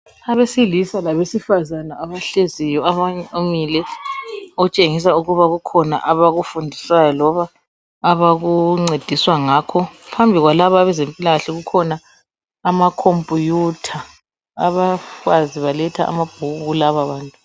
Abesilisa labesifazana abahleziyo abanye bamile okutshengisa ukuba kukhona abakufundisayo loba abakuncediswa ngakho. Phambili kwalaba abezempilakahle kukhona amakhompuyutha abafazi baletha amabhuku kulaba bantu.